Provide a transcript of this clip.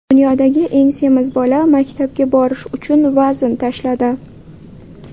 Dunyodagi eng semiz bola maktabga borish uchun vazn tashladi.